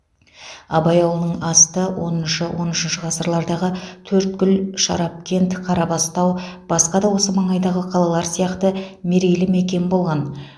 абай ауылының асты оныншы он үшінші ғасырлардағы төрткүл шарапкент қарабастау басқа да осы маңайдағы қалалар сияқты мерейлі мекен болған